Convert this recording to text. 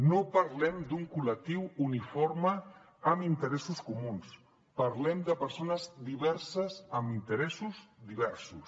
no parlem d’un col·lectiu uniforme amb interessos comuns parlem de persones diverses amb interessos diversos